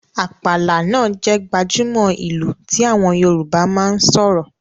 “Àpàlà” náà jẹ́ gbajúmò ìlù tí àwọn Yorùbá máa ń sọ̀rọ̀